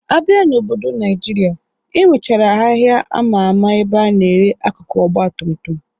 Abịa n'obodo Naịjirịa, enwechara ahịa ama ama ebe a na-ere akụkụ Ọgbatumtum